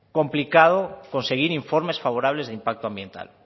complicado conseguir informes favorables de impacto ambiental